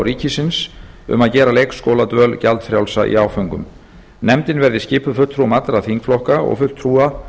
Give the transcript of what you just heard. ríkisins um að gera leikskóladvöl gjaldfrjálsa í áföngum nefndin verði skipuð fulltrúum allra þingflokka og fulltrúa